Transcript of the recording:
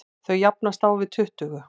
Þau jafnast á við tuttugu.